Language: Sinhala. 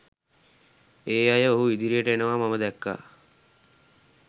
ඒ අය ඔහු ඉදිරියට එනවා මම දැක්කා